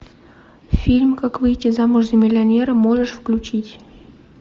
фильм как выйти замуж за миллионера можешь включить